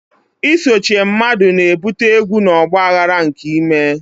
Isochie mmadu na-ebute egwu na ọgba aghara nke ime.